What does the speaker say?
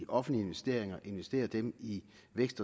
offentlige investeringer investerer dem i i vækst